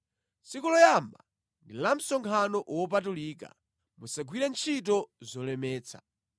Tsiku loyamba ndi la msonkhano wopatulika, musagwire ntchito zolemetsa.